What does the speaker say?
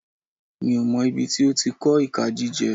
Mi ò mọ̀ ibi tí ó ti kọ́ ìka jíjẹ.